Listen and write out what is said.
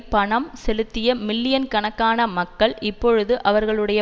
பணம் செலுத்திய மில்லியன் கணக்கான மக்கள் இப்பொழுது அவர்களுடைய